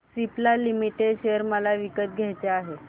Cipla limited share मला विकत घ्यायचे आहेत